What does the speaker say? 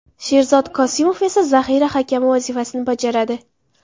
Sherzod Kosimov esa zahira hakami vazifasini bajaradi.